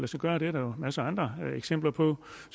sig gøre det er der jo masser af andre eksempler på